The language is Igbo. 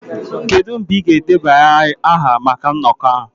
Kedu mgbe ị ga-edebanye aha maka nnọkọ ahụ?